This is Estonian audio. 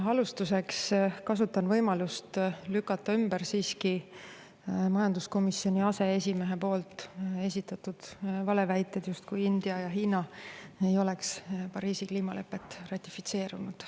Alustuseks kasutan võimalust lükata ümber majanduskomisjoni aseesimehe poolt esitatud valeväited, justkui India ja Hiina ei oleks Pariisi kliimalepet ratifitseerinud.